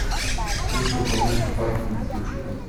смысл по монти пайтону включи ка